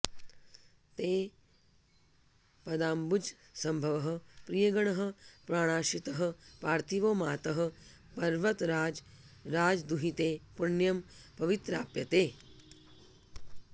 ते पादाम्बुजसम्भवः प्रियगणः प्राणाश्रितः पार्थिवो मातः पर्वतराजराजदुहिते पुण्यं पवित्राप्तये